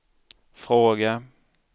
fråga